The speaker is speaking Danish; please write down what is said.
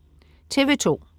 TV2: